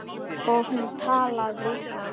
Og hún talaði.